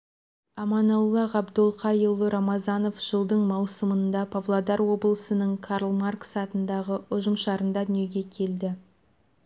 аманолла ғабдолхаұлы рамазанов жылдың маусымында павлодар облысының карл маркс атындағы ұжымшарында дүниеге келді